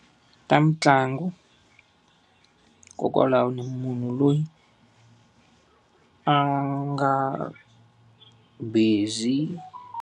Ta mitlangu hikokwalaho ni munhu loyi a nga busy.